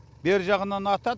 бер жағынан атады